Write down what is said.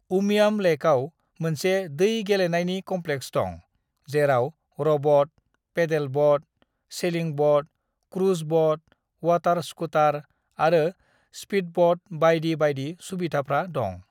"उमियाम लैकआव मोनसे दै गेलेनायनि क'म्प्लेक्स दं, जेराव rowboat, pedal boat, sailing boat, cruise boat, water scooter आरो स्पीडब'ट बायदि बायदि सुबिदाफ्रा दं।"